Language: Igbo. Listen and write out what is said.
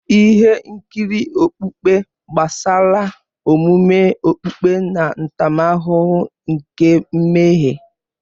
Ihe nkiri okpukpe gbasara omume okpukpe na ntaramahụhụ nke mmehie.